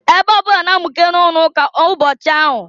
Ebe ọbụna na-amụke na-ụlọụka ụbọchị ahụ.